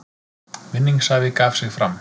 Vinningshafi gaf sig fram